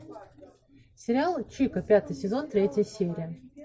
сериал чика пятый сезон третья серия